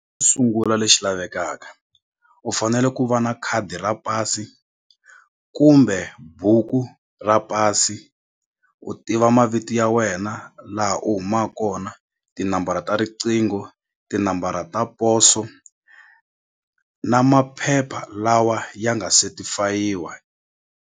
Sungula lexi lavekaka u fanele ku va na khadi ra pasi kumbe buku ra pasi u tiva mavito ya wena laha u huma kona tinambara ta riqingho tinambara ta poso na maphepha lawa ya nga setifayiwa.